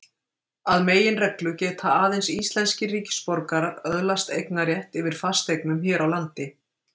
Að meginreglu geta aðeins íslenskir ríkisborgarar öðlast eignarrétt yfir fasteignum hér á landi.